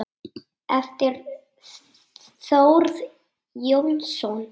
eftir Þórð Jónsson